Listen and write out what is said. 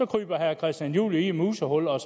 kryber herre christian juhl jo i et musehul og